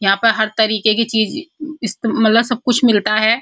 यहाँ पर हर तरीके की चीज इस्ते मतलब सब कुछ मिलता है।